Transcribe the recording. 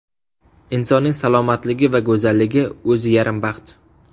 Insonning salomatligi va go‘zalligi o‘zi yarim baxt.